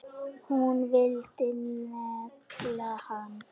Hún vildi negla hann!